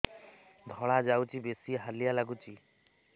ଧଳା ଯାଉଛି ବେଶି ହାଲିଆ ଲାଗୁଚି